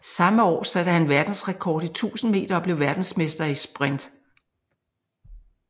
Samme år satte han verdensrekord i 1000 meter og blev verdensmester i sprint